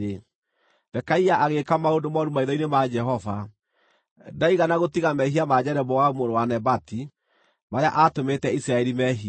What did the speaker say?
Pekaia agĩĩka maũndũ mooru maitho-inĩ ma Jehova. Ndaigana gũtiga mehia ma Jeroboamu mũrũ wa Nebati marĩa aatũmĩte Isiraeli meehie.